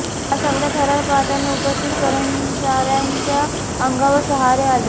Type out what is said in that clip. हा सगळा थरार पाहताना उपस्थित कर्मचाऱ्यांच्या अंगावर शहारे आले